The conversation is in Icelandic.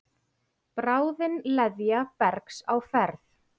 Bráðin leðja bergs á ferð.